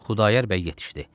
Xudayar bəy yetişdi.